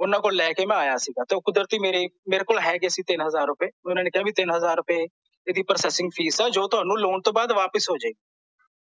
ਓਹਨਾਂ ਕੋਲੋਂ ਮੈਂ ਲੈ ਕੇ ਮੈਂ ਆਇਆ ਸੀ ਤੇ ਓਹ ਕੁਦਰਤੀ ਮੇਰੇ ਮੇਰੇ ਕੋਲ ਹੈਗੇ ਸੀ ਤਿੰਨ ਹਜ਼ਾਰ ਰੁਪਏ ਓਹਨਾਂ ਨੇ ਕਿਹਾ ਤਿੰਨ ਹਜ਼ਾਰ ਰੁਪਏ ਇਹਦੀ processing ਫੀਸ ਆ ਜੋ ਤੁਹਾਨੂੰ ਲੋਨ ਤੋਂ ਬਾਅਦ ਵਾਪਿਸ ਹੋ ਜੇ ਗੀ